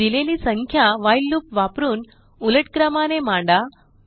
दिलेली संख्या while loop वापरून उलट क्रमाने मांडा